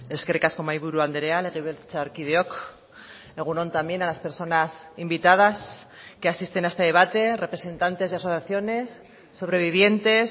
eskerrik asko mahaiburu andrea legebiltzarkideok egun on también a las personas invitadas que asisten a este debate representantes de asociaciones sobrevivientes